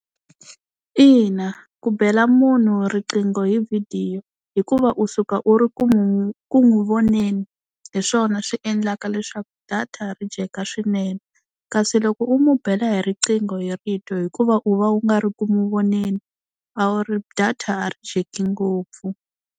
Ina ku bela munhu riqingho hi vhidiyo hikuva u suka u ri ku n'wi ku n'wi voneni hi swona swi endlaka leswaku data ri dyeka swinene, kasi loko u n'wi bela hi riqingho hi rito hikuva u va u nga ri ku n'wi voneni a wu ri data a ri dyeki ngopfu.